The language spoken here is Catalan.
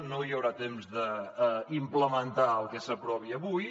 no hi haurà temps d’implementar el que s’aprovi avui